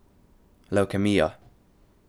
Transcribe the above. Levkemija.